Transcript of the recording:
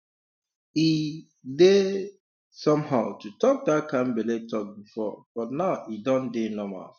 e um dey um somehow to talk that kind belle talk before but now e don dey normal